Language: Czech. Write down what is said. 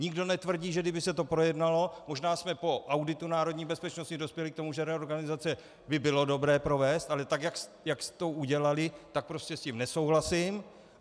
Nikdo netvrdí, že kdyby se to projednalo, možná jsme po auditu národní bezpečnosti dospěli k tomu, že reorganizaci by bylo dobré provést, ale tak jak jste to udělali, tak prostě s tím nesouhlasím.